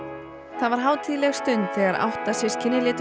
það var hátíðleg stund þegar átta systkini